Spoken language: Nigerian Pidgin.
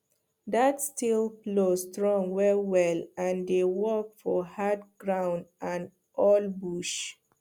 that steel plow strong wellwell and dey work for hard ground and old bush